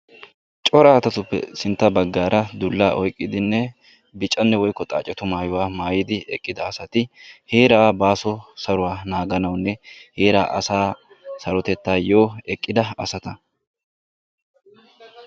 Cora asatuppe sintta baggaara dullaa oyqqidinne bicanne woykko xaacetu asatu maayuwa maayidi eqqida asati heera baaso saruwaa naaganawunne heeraa asa sarotettayyo eqqida asata.